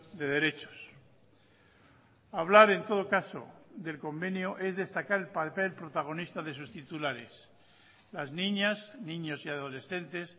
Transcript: de derechos hablar en todo caso del convenio es destacar el papel protagonista de sus titulares las niñas niños y adolescentes